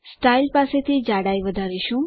style પાસેથી જાડાઈ વધારીશું